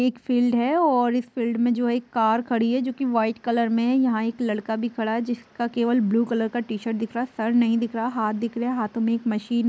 एक फील्ड है और इस फील्ड में जो है एक कार खड़ी है जोकि व्हाइट कलर में है| यहाँ एक लड़का भी खड़ा है जिसका केवल ब्लू कलर का टी-शर्ट दिख रहा है| सर नहीं दिख रहा हाथ दिख रहे हैं| हाथों में एक मशीन --